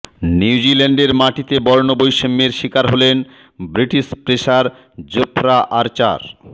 নিউজিল্যান্ডের মাটিতে বর্ণবৈষম্যের শিকার হলেন ব্রিটিশ পেসার জোফরা আর্চার